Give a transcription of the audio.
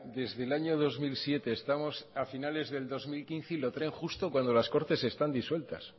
desde el año dos mil siete estamos a finales del dos mil quince y lo traen justo cuando las cortes están disueltas